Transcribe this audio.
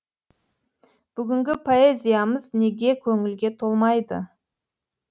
бүгінгі поэзиямыз неге көңілге толмайды